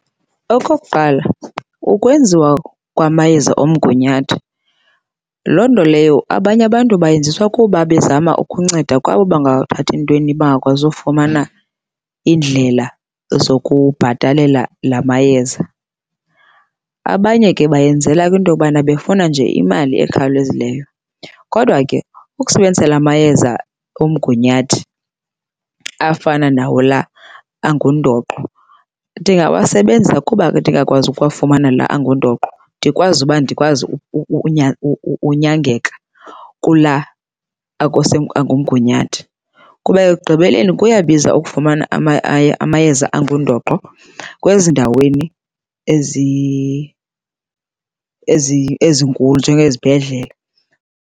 Okuqala ukwenziwa kwamayeza omgunyathi, loo nto leyo abanye abantu bayenziswa kuba bezama ukunceda kwabo bangathathi ntweni, bangakwazi ufumana iindlela zokubhatalela la mayeza. Abanye ke bayenzela kwinto yobana befuna nje imali ekhawulezileyo. Kodwa ke ukusebenzisa la mayeza omgunyathi afana nawo la angundoqo, ndingawasebenzisa kuba ke ndingakwazi ukuwafumana la angundoqo. Ndikwazi uba ndikwazi unyangeka kula angumgunyathi. Kuba ekugqibeleni kuyabiza ukufumana amayeza angundoqo kwezindaweni ezinkulu njengezibhedlele.